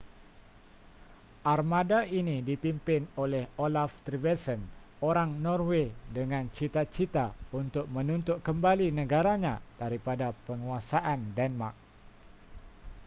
armada ini dipimpin oleh olaf trygvasson orang norway dengan cita-cita untuk menuntut kembali negaranya daripada penguasaan denmark